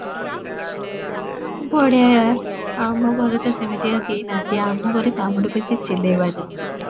ବଢିଆ , ଆମ ଘରେ ତ ସେମିତିକା କେହି ନାହାନ୍ତି, ଆମ ଘରେ କାମ ଠୁ ବେଶୀ ଚିଲେଇବା ଜାଣିଛନ୍ତି